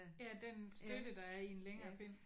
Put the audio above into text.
Ja den støtte der er i en længere pind